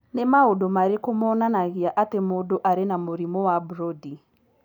Nĩ maũndũ marĩkũ monanagia atĩ mũndũ arĩ na mũrimũ wa Brody?